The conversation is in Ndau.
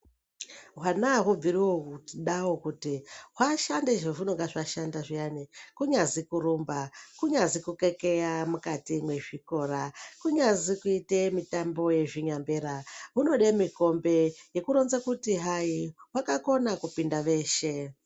Hwana auhubviri kudao kuti hwashanda zvahunenge hwashanda zviyani kunyazi kurumba kunyazi kukekeya mukati mezvikora kunyazi kuita mitambo yezvinyambera hunode mikombe yekuronze kuti hai hwakakone kupinda veshe.